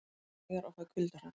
Klæjar og fæ kuldahroll